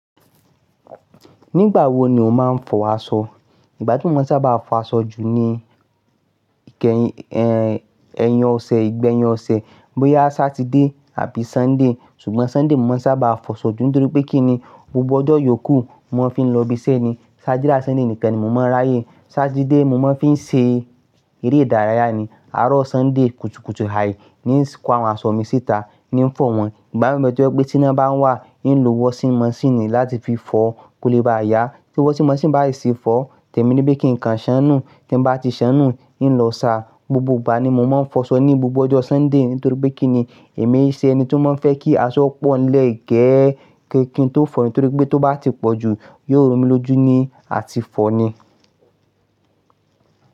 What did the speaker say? Nígbà wo ni o máa ń fọ aṣọ? Ìgbà tí mo maa n sábà fọ aṣọ jù ni ìkẹyìn, ẹn, ẹ̀yìn ọ̀sẹ̀, ìgbẹ̀yìn ọ̀sẹ̀ bóyá Saturday àbí Sunday. Ṣùgbọ́n Sunday mo maa n sábà fọ aṣọ jù nítorí pé kíni gbogbo ọjọ́ ìyókù mo fiń lọ ibi iṣẹ́ ni. Saturday ati Sunday nìkan ni mo máa ń ráyè. Saturday mo máa ń fi ṣe eré ìdárayá ni. Àárọ̀ Sunday kutukutu ai nísi kọ àwọn aṣọ mi síta ní ń fọ̀ wọ́n. Ìgbà mìíràn to jẹ́ pé tí iná bá wà, ń lo washing machine láti fi fọ kó lè ba yá. Tí washing machine bá si ti fọ, tẹ̀mí nipe kín kan ṣánùú. Tí ń bá ti ṣánùú, ń lọ sa. Gbogbo ìgbà ni mo máa ń fọ aṣọ ní gbogbo ọjọ́ Sunday nítorí pé kí ni èmi ṣe ẹni tí ó máa ń fẹ́ kí aṣọ pò nlẹ́ẹ̀ gee kín tó fọ̀, nitórí pé tó bá ti pọ̀ jù yóò romi lójú ni à ti fọ̀ ni.